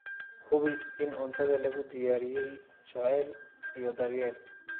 Hubi in cuntada lagu diyaariyey jacayl iyo daryeel.